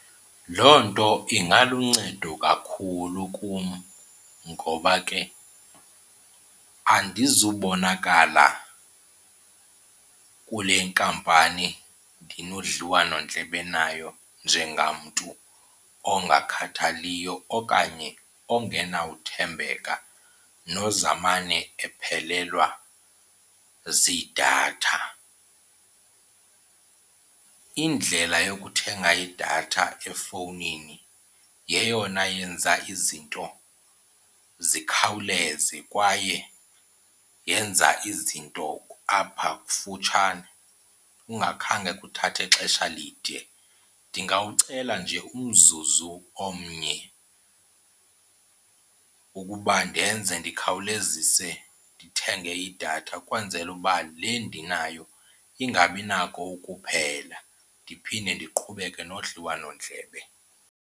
Loo nto ingaluncedo kakhulu kum ngoba ke andizubonakala kule nkampani ndinodliwanondlebe nayo njengamntu ongakhathaliyo okanye ongenawuthembeka nozamane ndiphelelwa ziidatha. Indlela yokuthenga idatha efowunini yeyona yenza izinto zikhawuleze kwaye yenza izinto apha kufutshane ungakhange kuthathe ixesha lide. Ndingawucela nje umzuzu omnye ukuba ndenze ndikhawulezise ndithenge idatha ukwenzela uba le ndinayo ingabinako ukuphela, ndiphinde ndiqhubeke nodliwanondlebe.